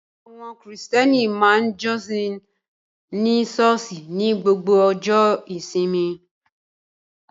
Àwọn Krìstẹ́nì ma ń jọ́sìn ní ṣọ́ọ̀ṣì ní gbogbo ọjọ́ ìsinmi